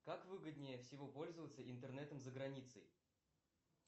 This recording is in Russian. как выгоднее всего пользоваться интернетом за границей